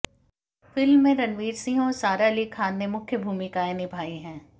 film में रणवीर सिंह और सारा अली खान ने मुख्य भूमिकाएं निभायी है